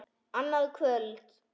Annað kvöld??